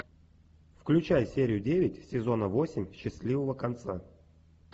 включай серию девять сезона восемь счастливого конца